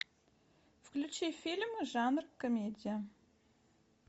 включи фильм жанр комедия